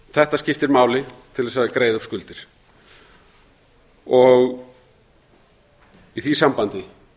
þetta skiptir máli til að greiða upp skuldir í því sambandi